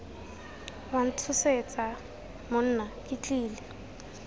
wa ntshosetsa monna ke tlile